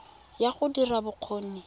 ya go dira ya bokgoni